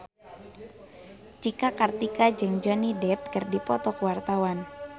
Cika Kartika jeung Johnny Depp keur dipoto ku wartawan